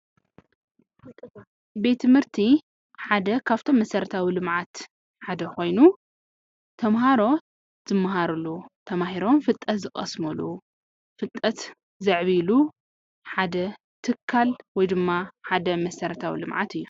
ቤት ትምህርቲ ሓደ ካብቶም መሰረታው ልምዓት ሓደ ኮይኑ ተምሃሮ ዝምሃሩሉ ተማሂሮም ፍልጠት ዝቀስሙሉ ፍልጠት ዘዕብይሉ ሓደ ትካል ወይ ድማ ሓደ መሰረታዊ ልምዓት እዩ።